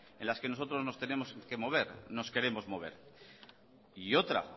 en las que nosotros nos tenemos que mover nos queremos mover y otra